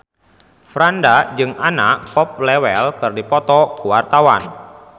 Franda jeung Anna Popplewell keur dipoto ku wartawan